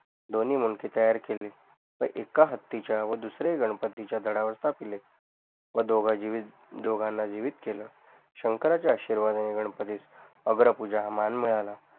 दोन्ही मुंडके तयार केले व एका हत्तीच्या व दुसऱ्या गणपतीच्या धडवर टाकले व दोघाणा डोंघाण जीवित केल शंकराच्या आशीर्वादाने गणपतीस अग्रपूजा हा मान मिळाला